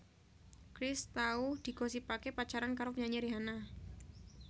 Chris tau digosipaké pacaran karo penyanyi Rihanna